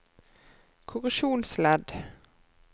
korreksjonsledd